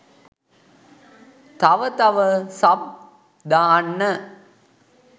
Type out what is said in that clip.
තව තව සබ් දාන්න